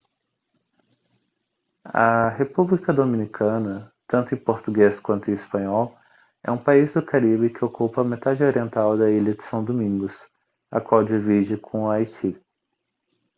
a república dominicana tanto em português quanto em espanhol é um país do caribe que ocupa a metade oriental da ilha de são domingos a qual divide com o haiti